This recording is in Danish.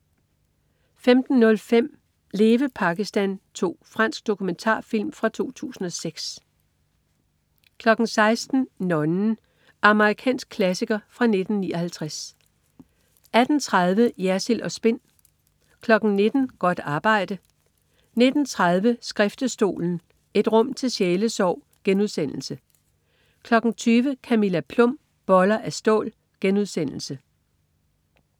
15.05 Leve Pakistan 2. Fransk dokumentarfilm fra 2006 16.00 Nonnen. Amerikansk klassiker fra 1959 18.30 Jersild & Spin 19.00 Godt arbejde 19.30 Skriftestolen. Et rum til sjælesorg* 20.00 Camilla Plum. Boller af stål*